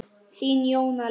Þín, Jóna Lind.